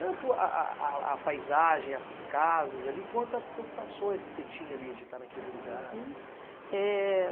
Tanto a a a a paisagem, as casas ali, quanto as sensações que você tinha ali de estar naquele lugar? Uhum. Eh